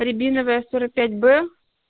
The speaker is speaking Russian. рябиновая сорок пять б